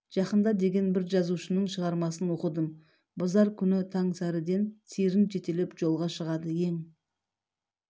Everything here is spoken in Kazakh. жақында деген бір жазушының шығармасын оқыдым базар күн таң сәріден сиырын жетелеп жолға шығады ең